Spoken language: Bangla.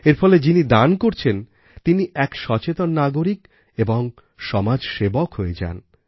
এর ফলে যিনি দান করছেন তিনি এক সচেতন নাগরিক ও সমাজসেবক হয়ে যান